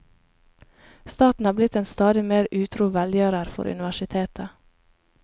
Staten er blitt en stadig mer utro velgjører for universitetet.